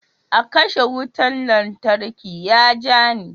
Akarshe wutan lantarki ya ja ni.